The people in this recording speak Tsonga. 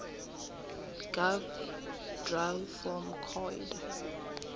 gov dra form coid